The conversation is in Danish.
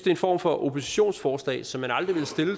en form for oppositionsforslag som jeg aldrig